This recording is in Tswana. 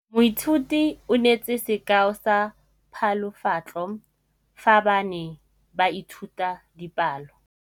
Moithuti o neetse sekaô sa palophatlo fa ba ne ba ithuta dipalo.